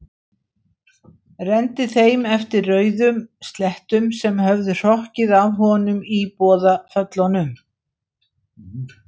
Renndi þeim eftir rauðum slettum sem höfðu hrokkið af honum í boðaföllunum.